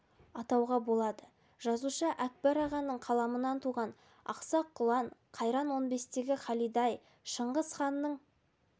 атауға болады жазушы әкбар ағаның қаламынан туған ақсақ құлан қайран он бестегі халида-ай шыңғыс ханның